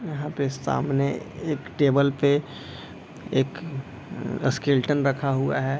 यहाँ पे सामने एक टेबल पे एक स्केलेटन रखा हुआ है।